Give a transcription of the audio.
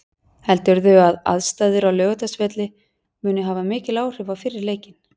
Heldurðu að aðstæður á Laugardalsvelli muni hafa mikil áhrif á fyrri leikinn?